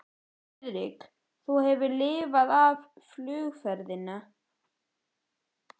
Friðrik, þú hefur lifað af flugferðina